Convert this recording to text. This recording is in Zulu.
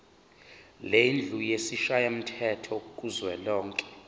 lendlu yesishayamthetho kuzwelonke